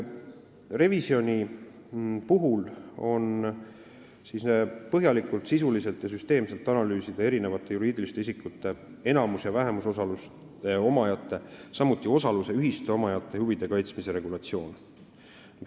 Revisjoni käigus tuleb põhjalikult, sisuliselt ja süsteemselt analüüsida erinevate juriidiliste isikute, enamus- ja vähemusosaluse omajate, samuti osaluse ühiste omajate huvide kaitsmise regulatsiooni.